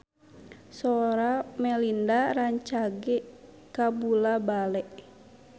Sora Melinda rancage kabula-bale